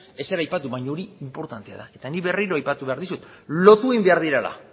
ezer aipatu baina hori inportantea da eta nik berriko aipatu behar dizut lotu egin behar direla